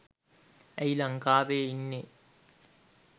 ඇයි ලංකාවේ ඉන්නේ